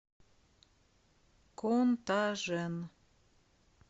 контажен